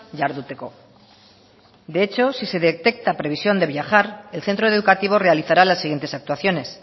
jarduteko de hecho si se detecta previsión de viajar el centro educativo realizará las siguientes actuaciones